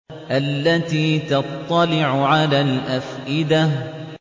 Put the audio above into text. الَّتِي تَطَّلِعُ عَلَى الْأَفْئِدَةِ